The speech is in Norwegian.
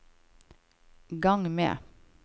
gang med